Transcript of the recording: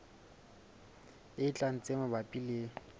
e tlang tse mabapi le